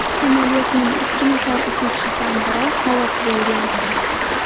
Samolyotning ikki nafar uchuvchisidan biri halok bo‘lgan.